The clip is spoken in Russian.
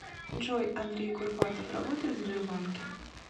джой андрей курпатов работает в сбербанке